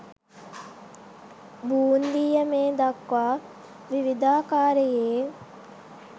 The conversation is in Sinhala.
බූන්දිය මේ දක්වා විවිධාකාරයේ